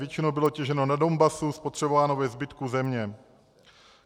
Většinou bylo těženo na Donbasu, spotřebováno ve zbytku země.